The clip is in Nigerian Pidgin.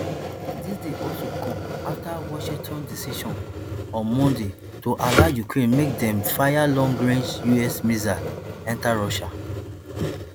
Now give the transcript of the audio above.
dis dey also come afta washington decision on monday to allow ukraine make dem fire long range us missiles enta russia